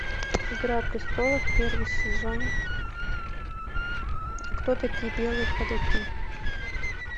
игра престолов первый сезон кто такие белые ходаки